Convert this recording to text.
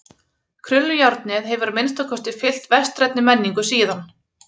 Krullujárnið hefur að minnsta kosti fylgt vestrænni menningu síðan.